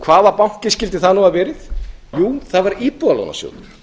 hvaða banki skyldi það nú hafa verið jú það var íbúðalánasjóður